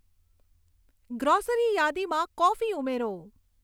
grocery યાદીમાં coffee ઉમેરો